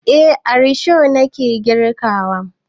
Eh a risho na ke girki.